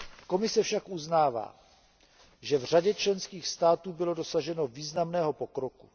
Komise však uznává, že v řadě členských států bylo dosaženo významného pokroku.